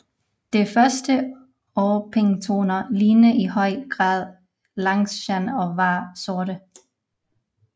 De første orpingtoner lignede i høj grad langshan og var sorte